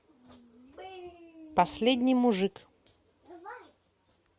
последний мужик